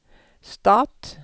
stat